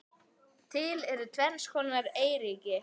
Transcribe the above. Til eru tvenns konar eyríki